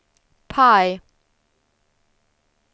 PIE